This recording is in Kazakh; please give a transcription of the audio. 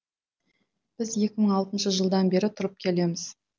біз екі мың алтыншы жылдан бері тұрып келеміз